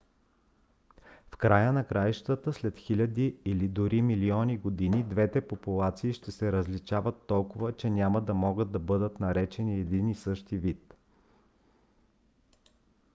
в края на краищата след хиляди или дори милиони години двете популации ще се различават толкова че няма да могат да бъдат наречени един и същ вид